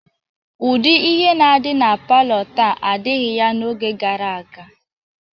Ụdị ihe na-adị na palọ taa adịghị ya n'oge gara aga.